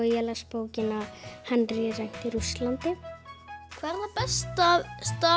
ég las bókina Henrí rænt í Rússlandi hvað er það besta